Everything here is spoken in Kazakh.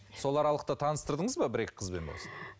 сол аралықта таныстырдыңыз ба бір екі қызбен болсын